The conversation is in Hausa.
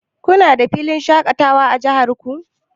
Kuna da filin shaƙatawa a jihar ku?